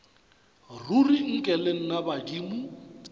ruri nke le nna badimo